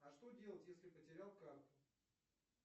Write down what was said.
а что делать если потерял карту